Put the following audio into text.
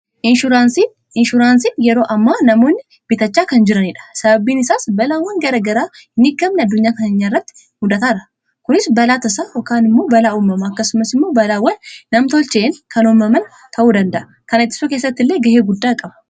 Inshuuraansii:-Inshuraansiin yeroo ammaa namoonni bitachaa kan jiranidha. Sababiin isaas balaawwan garaa garaa hinbeekamne addunyaa keenya irratti mudataa jira. Kunis balaa tasaa yookaan immoo balaa uumamaa akkasumas immoo balaawwan nam-tolcheen kan uumaman ta'uu danda'a. Kana ittisuu keessatti illee ga'ee guddaa qaba.